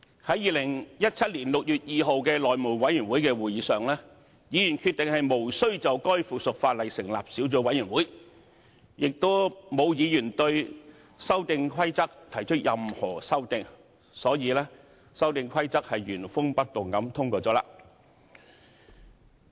在2017年6月2日的內務委員會會議上，議員決定無須就該附屬法例成立小組委員會，亦沒有議員對《修訂規則》提出任何修訂，所以《修訂規則》原封不動地通過了。